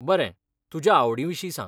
बरें, तुज्या आवडींविशीं सांग.